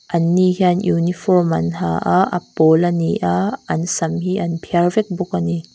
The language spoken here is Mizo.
anni hian uniform an ha a a pawl a ni a an sam hi an phiar vek bawk a ni.